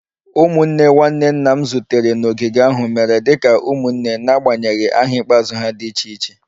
Ụmụnne nwanne nna m zutere n'ogige ahụ mere dị ka ụmụnne n'agbanyeghị aha ikpeazụ ha dị iche iche